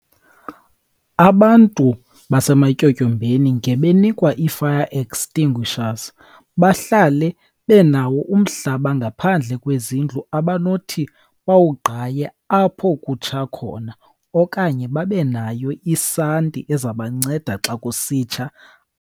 Abantu basematyotyombeni ngebenikwa ii-fire extinguishers, bahlale benawo umhlaba ngaphandle kwezindlu abanothi bawugqaye apho kutsha khona, okanye babe nayo isanti ezabanceda xa kusitsha.